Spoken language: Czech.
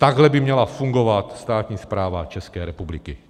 Takhle by měla fungovat státní správa České republiky.